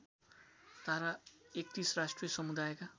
धारा ३१ राष्ट्रिय समुदायका